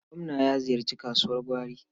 Gwamna ya ziyarci kasuwar gwari.